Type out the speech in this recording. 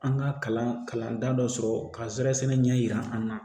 An ka kalan kalan dɔ sɔrɔ ka zɛrɛsɛnɛ ɲɛ yira an na